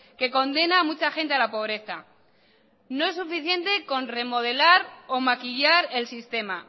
que condena a mucha gente a la pobreza no es suficiente con remodelar o maquillar el sistema